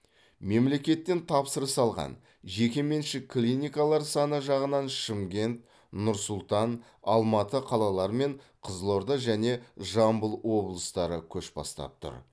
мемлекеттен тапсырыс алған жеке меншік клиникалар саны жағынан шымкент нұр сұлтан алматы қалалары мен қызылорда және жамбыл облыстары көш бастап тұр